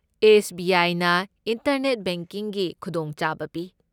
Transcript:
S. B. I. ꯅ internet ꯕꯦꯡꯀꯤꯡꯒꯤ ꯈꯨꯗꯣꯡꯆꯥꯕ ꯄꯤ꯫